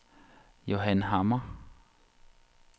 Johan Hammer